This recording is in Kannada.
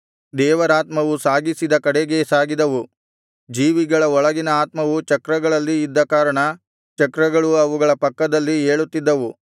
ದೇವರಾತ್ಮವು ಸಾಗಿಸಿದ ಕಡೆಗೇ ಸಾಗಿದವು ಜೀವಿಗಳ ಒಳಗಿನ ಆತ್ಮವು ಚಕ್ರಗಳಲ್ಲಿ ಇದ್ದ ಕಾರಣ ಚಕ್ರಗಳು ಅವುಗಳ ಪಕ್ಕದಲ್ಲಿ ಏಳುತ್ತಿದ್ದವು